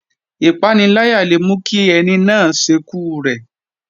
Ìpaniláyà le mú kí ẹni náà ṣekú rẹ̀